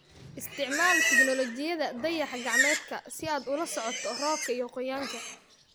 Isticmaal tignoolajiyada dayax-gacmeedka si aad ula socoto roobka iyo qoyaanka.